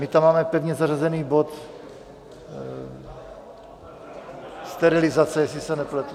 My tam máme pevně zařazený bod Sterilizace, jestli se nepletu.